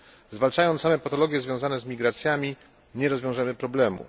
Zwalczając same patologie związane z migracjami, nie rozwiążemy problemu.